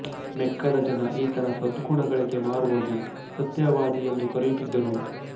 ಮೆಕ್ಕದ ಜನ ಈತನ ಸದ್ಗುಣಗಳಿಗೆ ಮಾರುಹೋಗಿ ಸತ್ಯವಾದಿ ಎಂದು ಕರೆಯುತ್ತಿದ್ದರು